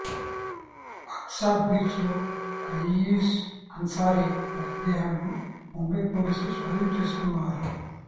Aqsa beach లో రయీస్ అన్సారీ మృతదేహాన్ని ముంబై పోలీసులు స్వాధీనం చేసుకున్నారు